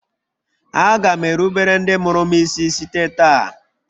Aga m erubere ndị mụrụ m isi site taa